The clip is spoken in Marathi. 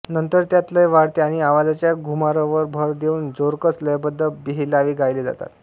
नंतर त्यात लय वाढते आणि आवाजाच्या घुमारावर भर देऊन जोरकस लयबद्ध बेहेलावे गायले जातात